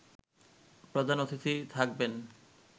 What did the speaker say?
প্রধান অতিথি থাকবেন